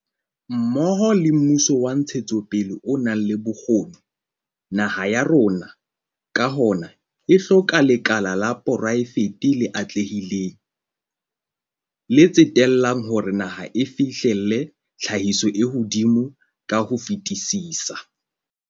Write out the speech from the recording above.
Mmoho le mmuso wa ntshetsopele o nang le bokgoni, naha ya rona, ka hona, e hloka lekala la poraefete le atlehileng, le tsetellang hore naha e fihlelle tlhahiso e hodimo ka ho fetisisa.